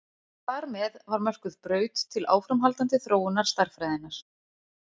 Þar með var mörkuð braut til áframhaldandi þróunar stærðfræðinnar.